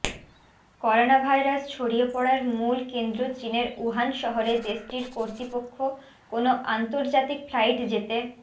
coronavirus ছড়িয়ে পড়ার মূল কেন্দ্র চীনের উহান শহরে দেশটির কর্তৃপক্ষ কোনো আন্তর্জাতিক ফ্লাইট যেতে